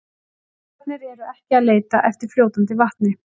Jepparnir eru ekki að leita eftir fljótandi vatni.